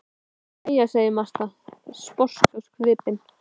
Jæja, segir Marta, sposk á svipinn.